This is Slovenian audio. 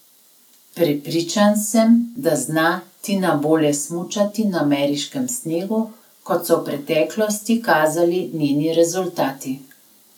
Prepričan sem, da zna Tina bolje smučati na ameriškem snegu, kot so v preteklosti kazali njeni rezultati.